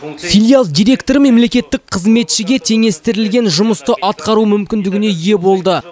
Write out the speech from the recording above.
филиал директоры мемлекеттік қызметшіге теңестірілген жұмысты атқару мүмкіндігіне ие болды